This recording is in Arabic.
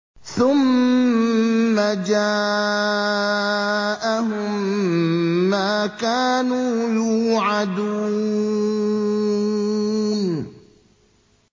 ثُمَّ جَاءَهُم مَّا كَانُوا يُوعَدُونَ